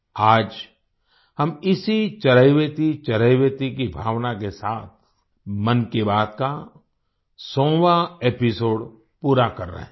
आज हम इसी चरैवेति चरैवेति की भावना के साथ मन की बात का 100वाँ एपिसोड पूरा कर रहे हैं